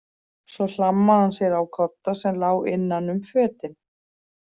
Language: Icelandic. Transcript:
Svo hlammaði hann sér á kodda sem lá innan um fötin.